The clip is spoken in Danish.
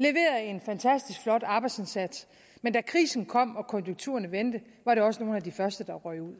og en fantastisk flot arbejdsindsats men da krisen kom og konjunkturerne vendte var de også nogle af de første der røg ud